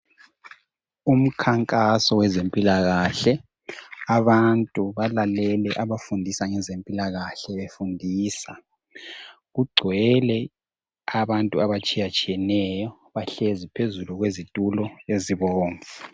Umkhankaso wezempilakahle. Abantu balalele abafundisa ngezempilakahle befundisa. Kugcwele abantu abatshiyatshiyeneyo bahlezi phezulu kwezitulo ezibomvu.